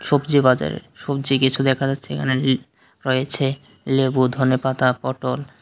সবজি বাজারে সবজি কিছু দেখা যাচ্ছে এখানে ল রয়েছে লেবু ধনেপাতা পটল।